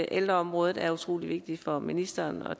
ældreområdet er utrolig vigtigt for ministeren og